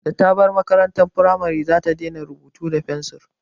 Da ta bar makarantar firamare za ta daina rubutu da fensir